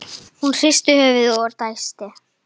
Hún hristir höfuðið og dæsir.